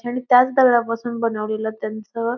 आणि त्याच दगडापासून बनवलेलं त्यांचं --